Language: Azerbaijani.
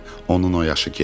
Onun o yaşı keçib.